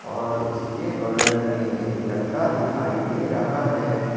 और उसके बगल में एक लड़का दिखाई दे रहा है।